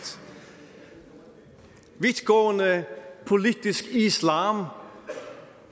vidtgående politisk islam